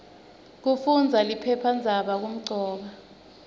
kufundaza liphephandzaba kumcoka